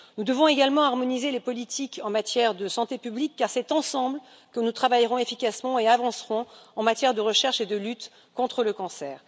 Nous devons également harmoniser les politiques en matière de santé publique car c'est ensemble que nous travaillerons efficacement et avancerons en matière de recherche et de lutte contre le cancer.